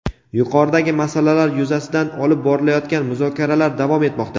yuqoridagi masalalar yuzasidan olib borilayotgan muzokaralar davom etmoqda.